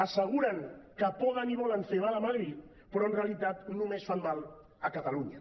asseguren que poden i volen fer mal a madrid però en realitat només fan mal a catalunya